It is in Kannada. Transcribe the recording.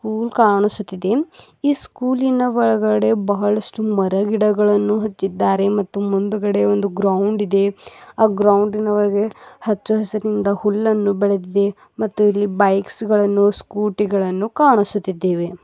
ಸ್ಕೂಲ್ ಕಾಣಿಸುತ್ತಿದೆ ಈ ಸ್ಕೂಲಿನ ಒಳಗಡೆ ಬಹಳಷ್ಟು ಮರಗಿಡಗಳನ್ನು ಹಚ್ಚಿದ್ದಾರೆ ಮತ್ತು ಮುಂದುಗಡೆ ಒಂದು ಗ್ರೌಂಡ್ ಇದೆ ಆ ಗ್ರೌಂಡಿನ ಒಳಗೆ ಹಚ್ಚ ಹಸಿರುನಿಂದ ಹುಲ್ಲನ್ನು ಬೆಳೆದಿದೆ ಮತ್ತು ಇಲ್ಲಿ ಬೈಕ್ಸ್ ಗಳನ್ನು ಸ್ಕೂಟಿ ಗಳನ್ನು ಕಾಣಿಸುತ್ತಿದ್ದೇವೆ.